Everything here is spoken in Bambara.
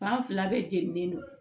fila bɛɛ jeninen don